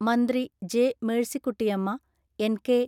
മന്ത്രി ജെ.മേഴ്സിക്കുട്ടിയമ്മ, എൻ.കെ.